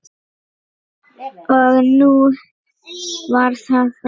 Og nú var það frá.